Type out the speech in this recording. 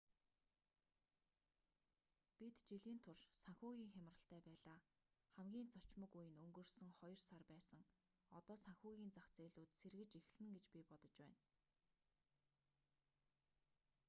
бид жилийн турш санхүүгийн хямралтай байлаа хамгийн цочмог үе нь өнгөрсөн хоёр сар байсан одоо санхүүгийн зах зээлүүд сэргэж эхэлнэ гэж би бодож байна